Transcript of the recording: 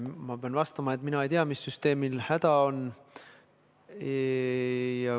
Ma pean vastama, et mina ei tea, mis süsteemil häda on.